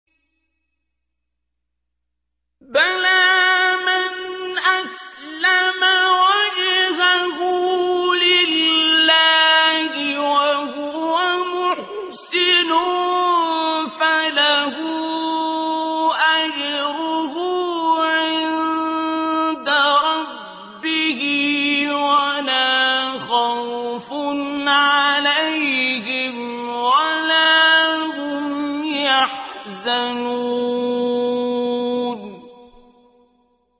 بَلَىٰ مَنْ أَسْلَمَ وَجْهَهُ لِلَّهِ وَهُوَ مُحْسِنٌ فَلَهُ أَجْرُهُ عِندَ رَبِّهِ وَلَا خَوْفٌ عَلَيْهِمْ وَلَا هُمْ يَحْزَنُونَ